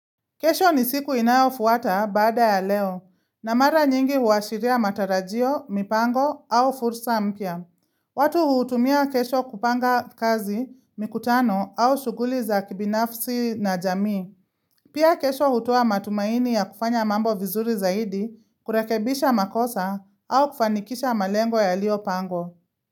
Kesho ni siku inayofuata baada ya leo, na mara nyingi huashiria matarajio, mipango au fursa mpya. Watu huutumia kesho kupanga kazi, mikutano au shughuli za kibinafsi na jamii. Pia kesho hutoa matumaini ya kufanya mambo vizuri zaidi, kurekebisha makosa au kufanikisha malengo yalio pangwa.